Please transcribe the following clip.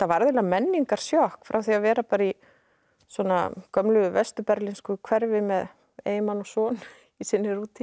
eiginlega menningarsjokk frá því að vera í gömlu vestur hverfi með eiginmann og son í sinni rútínu